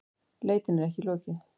Leitinni er ekki lokið